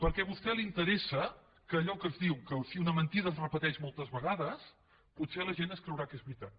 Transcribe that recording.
perquè a vostè li interessa allò que es diu que si una mentida es repeteix moltes vegades potser la gent es creurà que és veritat